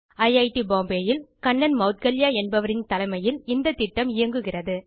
ஐட் பாம்பே ல் கண்ணன் மெளத்கல்யா என்பவரின் தலைமையில் இந்த திட்டம் இயங்குகிறது